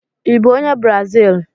Ị bụ onye brazili?